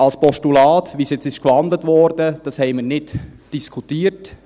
Als Postulat, zu dem es jetzt gewandelt wurde, haben wir es nicht diskutiert.